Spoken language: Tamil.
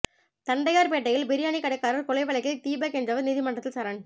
தண்டையார் பேட்டையில் பிரியாணி கடைக்காரர் கொலை வழக்கில் தீபக் என்பவர் நீதிமன்றத்தில் சரண்